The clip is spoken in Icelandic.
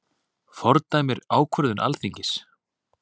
Fordæmir ákvörðun Alþingis